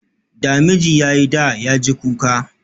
Da miji ya yi da, ya ji kuka